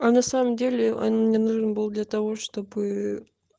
а на самом деле он мне нужен был для того чтобы